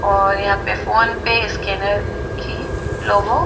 और यहाँ पे फ़ोनपे स्कैनर कि लोगो लोगो--